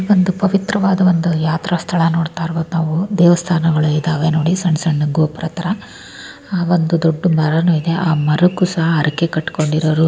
ಇಲ್ಲೊಂದು ಪವಿತ್ರವಾದ ಯಾತ್ರಾ ಸ್ಥಳ ನೋಡ್ತಾ ಇರಬಹುದು ನಾವು ದೇವಸ್ಥಾನಗಳು ಇದಾವ ನೋಡಿ ಸಣ್ಣ ಗೋಫರ್ ತರ ಆ ಒಂದ್ ದೊಡ್ಡ್ ಮರ ನು ಇದೆ ಆ ಮರಕ್ಕೂ ಸಹ ಹರಕೆ ಕಟಕೊಂಡಿರೋರು --